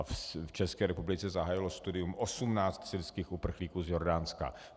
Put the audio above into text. A v České republice zahájilo studium 18 syrských uprchlíků z Jordánska.